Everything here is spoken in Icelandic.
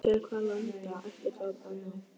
Til hvaða landa ætti það að ná?